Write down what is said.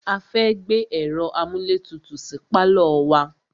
A fẹ́ gbé ẹ̀ro amúlétutù sí pálọ̀ wa.